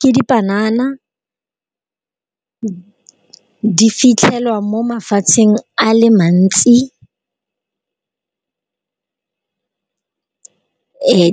Ke di panana, di fitlhelwa mo mafatsheng a le mantsi.